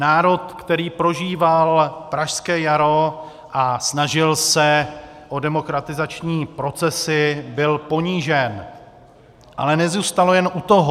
Národ, který prožíval pražské jaro a snažil se o demokratizační procesy, byl ponížen, ale nezůstalo jen u toho.